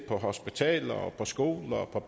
at skulle